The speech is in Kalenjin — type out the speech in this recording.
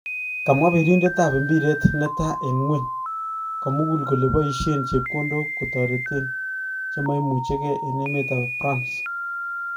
Kamwa Pirindet-ab-imbiret neta en gweny komugul kole paisien chepkondog kotareten chem imuchegee en emetab Prans